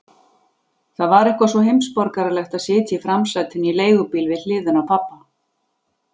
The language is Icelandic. Það var eitthvað svo heimsborgaralegt að sitja í framsætinu í leigubíl við hliðina á pabba.